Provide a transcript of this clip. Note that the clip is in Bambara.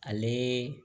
Ale